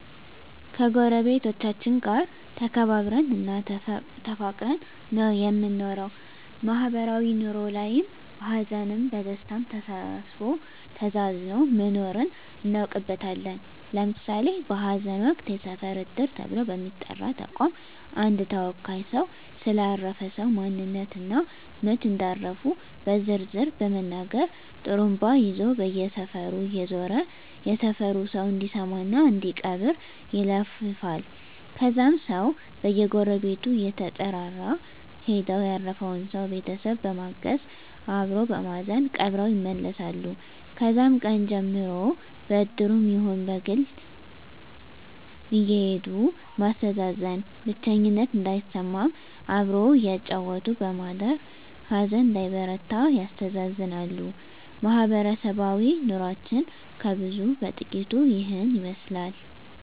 ከጎረቤቶቻችን ጋር ተከባብረን እና ተፋቅረን ነው የምንኖረው ማህበራዊ ኑሮ ላይም በሀዘንም በደስታም ተሳስቦ ተዛዝኖ መኖርን እናውቅበታለን ለምሳሌ በሀዘን ወቅት የሰፈር እድር ተብሎ በሚጠራ ተቋም አንድ ተወካይ ሰው ስለ አረፈ ሰው ማንነት እና መች እንዳረፉ በዝርዝር በመናገር ጡሩምባ ይዞ በየሰፈሩ እየዞረ የሰፈሩ ሰው እንዲሰማ እና እንዲቀብር ይለፍፋል ከዛም ሰው በየጎረቤቱ እየተጠራራ ሄደው ያረፈውን ሰው ቤተሰብ በማገዝ አበሮ በማዘን ቀብረው ይመለሳሉ ከዛም ቀን ጀምሮ በእድሩም ይሁን በግል አየሄዱ ማስተዛዘን ብቸኝነት እንዳይሰማም አብሮ እያጫወቱ በማደር ሀዘን እንዳይበረታ ያስተዛዝናሉ ማህበረሰባዊ ኑሮችን ከብዙ በጥቂቱ ይህን ይመስላል